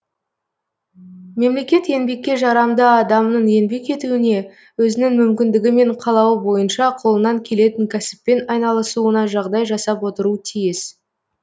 мемлекет еңбекке жарамды адамның еңбек етуіне өзінің мүмкіндігі мен қалауы бойынша қолынан келетін кәсіппен айналысуына жағдай жасап отыру тиіс